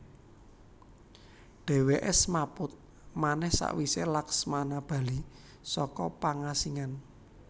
Dheweke smaput manèh sawise Laksmana bali saka pangasingan